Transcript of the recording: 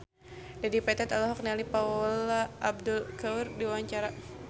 Dedi Petet olohok ningali Paula Abdul keur diwawancara